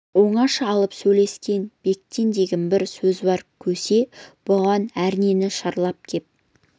оңаша алып сөйлескен бектен деген бір сөзуар көсе бұған әрнені шарлап кеп